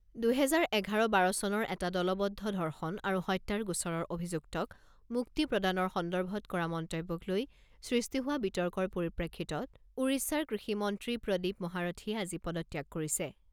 দুহেজাৰ এঘাৰ বাৰ চনৰ এটা দলবদ্ধ ধৰ্ষণ আৰু হত্যাৰ গোচৰৰ অভিযুক্তক মুক্তি প্ৰদানৰ সন্দৰ্ভত কৰা মন্তব্যক লৈ সৃষ্টি হোৱা বিতৰ্কৰ পৰিপ্ৰেক্ষিতত ওড়িশাৰ কৃষিমন্ত্ৰী প্ৰদীপ মহাৰথীয়ে আজি পদত্যাগ কৰিছে।